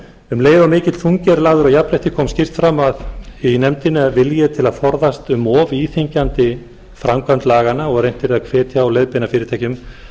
um leið og mikill þungi er lagður á jafnrétti kom skýrt fram í nefndinni að vilji er til að forðast um of íþyngjandi framkvæmd laganna og reynt yrði að hvetja og leiðbeina fyrirtækjum